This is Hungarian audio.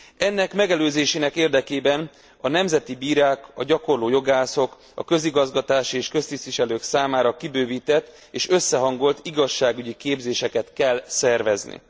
Ennek megelőzésének érdekében a nemzeti bírák, a gyakorló jogászok, a közigazgatási és köztisztviselők számára kibővített és összehangolt igazságügyi képzéseket kell szervezni.